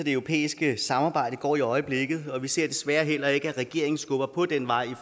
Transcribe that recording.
europæiske samarbejde nødvendigvis går i øjeblikket og vi ser desværre heller ikke at regeringen skubber på den vej